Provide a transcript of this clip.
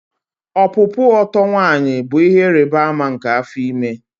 Ọpụpụ oto nwanyi bụ ihe ịrịba ama nke afọ ime